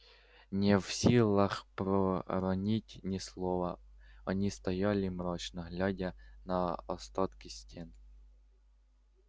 не в силах проронить ни слова они стояли мрачно глядя на остатки стен